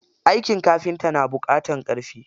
Aikin kafinta na buƙatar ƙarfi.